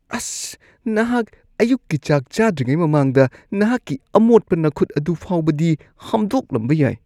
ꯑꯁ! ꯅꯍꯥꯛ ꯑꯌꯨꯛꯀꯤ ꯆꯥꯛ ꯆꯥꯗ꯭ꯔꯤꯉꯩ ꯃꯃꯥꯡꯗ ꯅꯍꯥꯛꯀꯤ ꯑꯃꯣꯠꯄ ꯅꯈꯨꯠ ꯑꯗꯨ ꯐꯥꯎꯕꯗꯤ ꯍꯥꯝꯗꯣꯛꯂꯝꯕ ꯌꯥꯏ꯫